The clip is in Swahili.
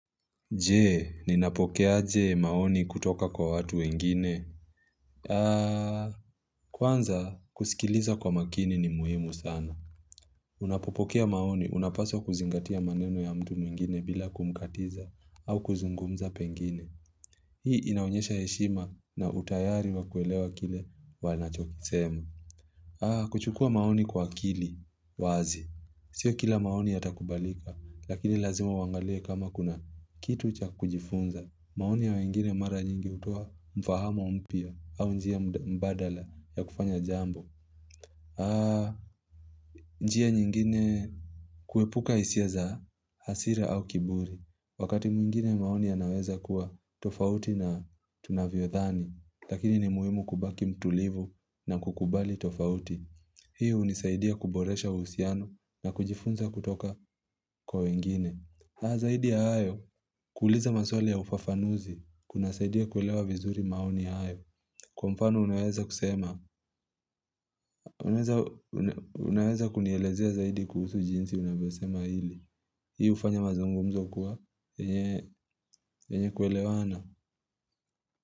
Je, ninapokeaje maoni kutoka kwa watu wengine? Kwanza kusikiliza kwa makini ni muhimu sana. Unapopokea maoni, unapaswa kuzingatia maneno ya mtu mwingine bila kumkatiza au kuzungumza pengine. Hii inaonyesha heshima na utayari wa kuelewa kile wanachokisema. Kuchukua maoni kwa akili, wazi. Sio kila maoni yatakubalika, lakini lazima uangalie kama kuna kitu cha kujifunza. Maoni ya wengine mara nyingi hutowa mfahamu mpya au njia mbadala ya kufanya jambo. Njia nyingine kuepuka hisia za hasira au kiburi. Wakati mwingine maoni yanaweza kuwa tofauti na tunavyodhani lakini ni muhimu kubaki mtulivu na kukubali tofauti Hii hunisaidia kuboresha uhusiano na kujifunza kutoka kwa wengine. Zaidi ya hayo kuuliza maswali ya ufafanuzi kunasaidia kuelewa vizuri maoni hayo. Kwa mfano unaweza kusema Unaweza kunielezea zaidi kuhusu jinsi unavyosema hili Hii hufanya mazungumzo kuwa yenye kuelewana.